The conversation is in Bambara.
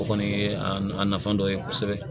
O kɔni ye a nafa dɔ ye kosɛbɛ